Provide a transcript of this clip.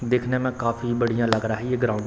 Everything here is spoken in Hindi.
देखने मे काफी बढ़िया लग रहा है ये ग्राउंड ।